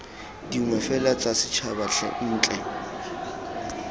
dingwe fela tsa setšhaba ntle